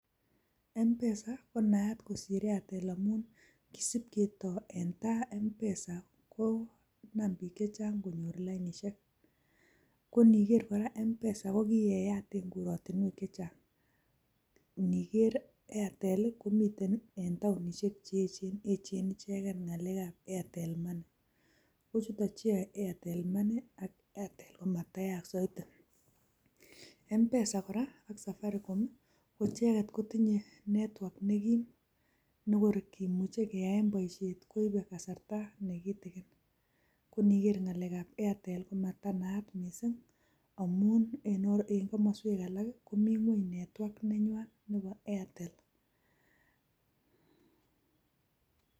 Mpesa konayat mising kosir Airtel amun kisipketoi eng tai mpesa konaam biik chechang konyor lainishek koniger kora mpesa kokikeyat eng korotinwek chechang ngiger Airtel komiten taonishek cheechen ichegei ngalek ab Airtel money kochuto cheyoe airtelmoney ak Airtel komatanayak said mpesa kora ak safaricom ko icheget kotinyei network nekim nekorikimuchei keyae boishet koibei kasarta nekitikin ngoniger ngalek ab Airtel ko matanayat mising amun eng komoswek alak komi ngwony network nengwai nebo Airtel